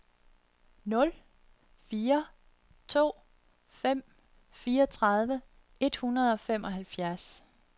nul fire to fem fireogtredive et hundrede og femoghalvfems